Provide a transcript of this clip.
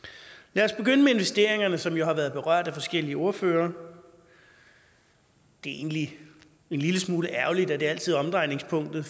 lad os begynde med investeringerne som jo har været berørt af forskellige ordførere det er egentlig en lille smule ærgerligt at det altid er omdrejningspunktet